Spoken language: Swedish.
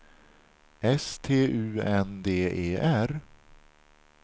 S T U N D E R